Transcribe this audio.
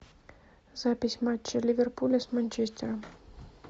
запись матча ливерпуля с манчестером